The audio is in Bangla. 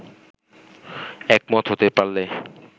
একমত হতে পারলে